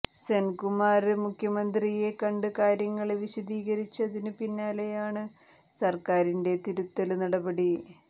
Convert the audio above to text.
സെന്കുമാര് മുഖ്യമന്ത്രിയെ കണ്ട് കാര്യങ്ങള് വിശദീകരിച്ചതിനു പിന്നാലെയാണ് സര്ക്കാരിന്റെ തിരുത്തല് നടപടി